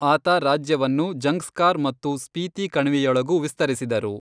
ಆತ ರಾಜ್ಯವನ್ನು ಜಂಗ್ಸ್ಕಾರ್ ಮತ್ತು ಸ್ಪೀತಿ ಕಣಿವೆಯೊಳಗೂ ವಿಸ್ತರಿಸಿದರು.